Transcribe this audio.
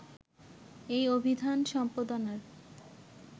এই অভিধান সম্পাদনার